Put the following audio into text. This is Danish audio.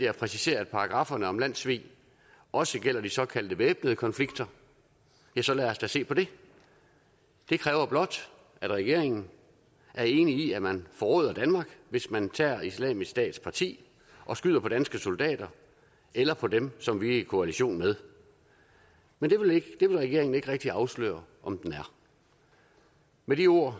at præcisere at paragrafferne om landssvig også gælder de såkaldte væbnede konflikter så lad os da se på det det kræver blot at regeringen er enig i at man forråder danmark hvis man tager islamisk stats parti og skyder på danske soldater eller på dem som vi er i koalition med men det vil regeringen ikke rigtig afsløre om den er med de ord